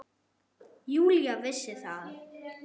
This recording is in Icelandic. Júlía vissi það.